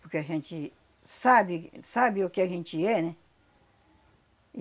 Porque a gente sabe sabe o que a gente é, né?